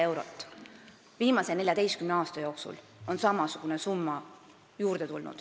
Kui me vaatame ajalukku, siis viimase 14 aasta jooksul on juurde tulnud kokku samasugune summa.